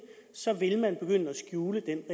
så vil man begynde at skjule den